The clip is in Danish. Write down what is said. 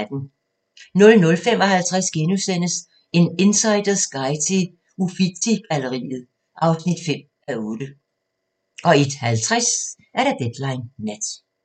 00:55: En insiders guide til Uffizi-galleriet (5:8)* 01:50: Deadline Nat